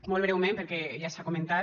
molt breument perquè ja s’ha comentat